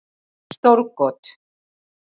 Stór got